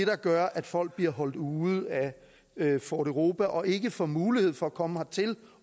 der gør at folk bliver holdt ude af fort europa og ikke får mulighed for at komme hertil